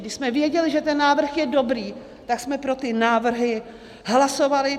Když jsme věděli, že ten návrh je dobrý, tak jsme pro ty návrhy hlasovali.